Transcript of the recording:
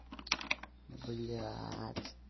блядь